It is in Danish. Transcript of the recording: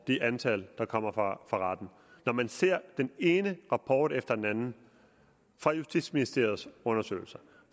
det antal der kommer for retten når man ser den ene rapport efter den anden fra justitsministeriets undersøgelser